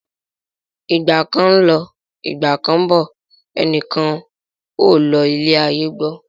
Ìgbà kan ń lọ, Ìgbà kán ń bọ̀, ẹnìkan ò lo ilé ayé gbó.